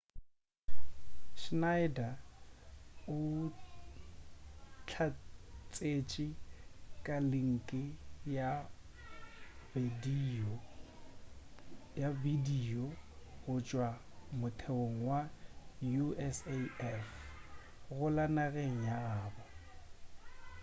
schneider o hlatsetše ka linki ya bedio go tšwa motheong wa usaf go la nageng ya gabo